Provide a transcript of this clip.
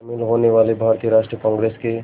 शामिल होने वाले भारतीय राष्ट्रीय कांग्रेस के